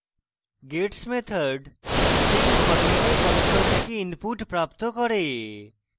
gets method gets method string ফরম্যাটে console থেকে input প্রাপ্ত করে